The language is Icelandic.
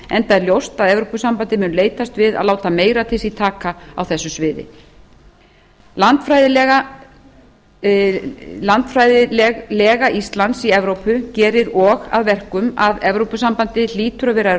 enda er ljóst að evrópusambandið mun leitast við að láta meira til sín taka á þessu sviði landfræðilega lega íslands í evrópu gerir og að verkum að evrópusambandið hlýtur að vera